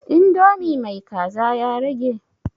Indomi mai kaza ya rage?